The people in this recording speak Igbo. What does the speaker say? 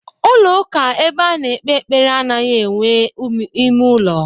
Ulo uka ebe ano ekpe ekpere anoghi enwe ime ulo.